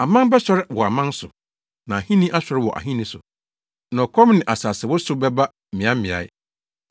Aman bɛsɔre wɔ aman so, na ahenni asɔre wɔ ahenni so, na ɔkɔm ne asasewosow bɛba mmeaemmeae.